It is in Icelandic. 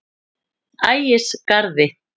Ægisgarði